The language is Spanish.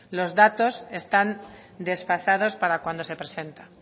los datos están desfasados para cuando se presenta